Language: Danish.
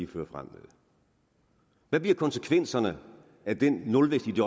fører frem hvad bliver konsekvenserne af den nulvækst i de